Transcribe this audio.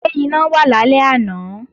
Ṣé iná wà lálẹ́ àná?